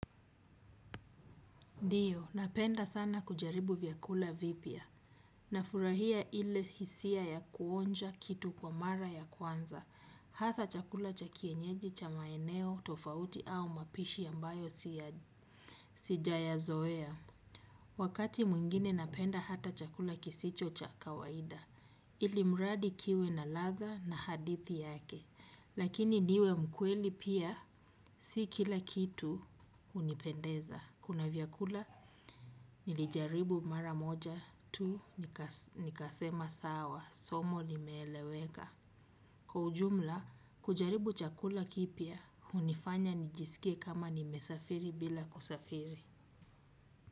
Ndiyo, napenda sana kujaribu vyakula vipya. Nafurahia ile hisia ya kuonja kitu kwa mara ya kwanza. Hasa chakula cha kienyeji cha maeneo, tofauti au mapishi ya mbayo sijayazoea. Wakati mwingine napenda hata chakula kisicho cha kawaida. Ili mradi kiwe na ladha na hadithi yake. Lakini niwe mkweli pia si kila kitu hunipendeza. Kuna vyakula, nilijaribu mara moja tu, nikasema sawa, somo limeeleweka. Kwa ujumla, kujaribu chakula kipya, hunifanya nijisikie kama nimesafiri bila kusafiri.